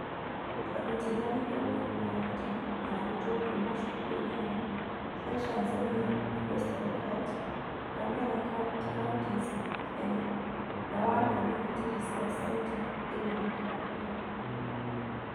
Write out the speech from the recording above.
Twarutithanirie wĩra na arutani na arutwo kuuma cukuru 8 cia Trans Nzoia, West Pokot, Kakamega Counties Kenya, na 1 community resource centre thĩinĩ wa Kakamega